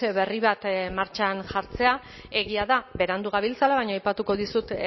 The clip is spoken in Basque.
berri bat martxan jartzea egia da berandu gabiltzala baina aipatuko dizut